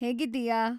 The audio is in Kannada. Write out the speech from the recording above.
ಹೇಗಿದ್ದೀಯಾ?